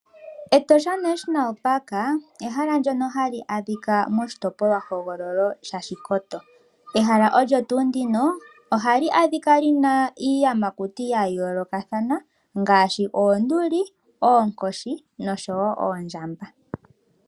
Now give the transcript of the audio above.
Etosha National Park, ehala ndono hali adhika moshitopolwahogololo shaOshikoto. Ehala olyo tuu ndino ohali adhika iiyamakuti ya yooloka ngaashi oonduli, oonkoshi noshowo oondjamba.